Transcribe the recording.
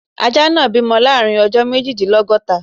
Ajá náà bímọ láàrin ọjọ́ méjìdínlọ́góta.